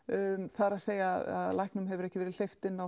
það er að læknum hefur ekki verið hleypt inn á